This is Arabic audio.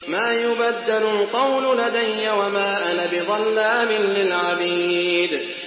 مَا يُبَدَّلُ الْقَوْلُ لَدَيَّ وَمَا أَنَا بِظَلَّامٍ لِّلْعَبِيدِ